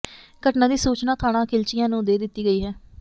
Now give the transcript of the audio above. ਘਟਨਾ ਦੀ ਸੂਚਨਾ ਥਾਣਾ ਖਿਲਚੀਆਂ ਨੂੰ ਦੇ ਦਿੱਤੀ ਗਈ ਹੈ